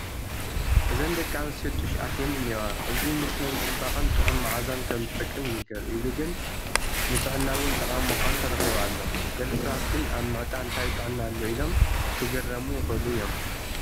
እዘን ደቂ ኣንስትዮ ጡሽ ኣቴን እኔዋ፡፡ እዚ ንስነ ፅባቐን ጥዑም መዓዛን ከምዝጠቅም ይንገር፡፡ ኢሉ ግን ንጥዕና እውን ተቓሚ ምዃኑ ተረኺቡ ኣሎ፡፡ ገለ ሰባት ግን ኣብ ምዕጣን ታይ ጥዕና ኣሎ ኢሎም ክግረሙ ይኽእሉ እዮም፡፡